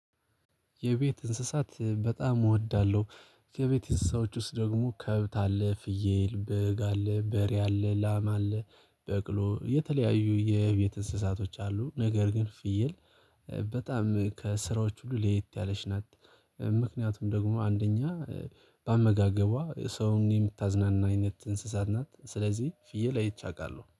የቤት እንስሳት በጣም እወዳለሁ። ከቤት እንስሳዎች ውስጥ ደግሞ ከብት አለ ፍየል በግ በሬ አለ ላማ አለ በቅሎ የተለያዩ የቤት እንስሳቶች አሉ። ነገር ግን ፍየል በጣም ከእስሣዎቹ ሁሉ ለየት ያለች ናት። ምክንያቱም ደግሞ አንደኛ በአመጋግቧ ሰውን የምታዝናና አይነት እንስሳት ናት። ስለዚህ ፍየል አይቻለሁ